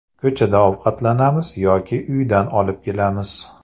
Ko‘chada ovqatlanamiz yoki uydan olib kelamiz.